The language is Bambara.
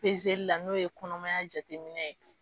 Pezeli la n'o ye kɔnɔmaya jateminɛ ye